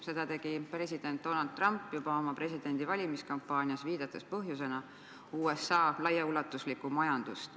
Seda tegi president Donald Trump juba oma valimiskampaanias, viidates põhjusena USA laiaulatuslikule majandusele.